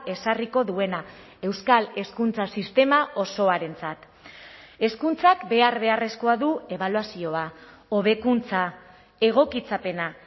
ezarriko duena euskal hezkuntza sistema osoarentzat hezkuntzak behar beharrezkoa du ebaluazioa hobekuntza egokitzapena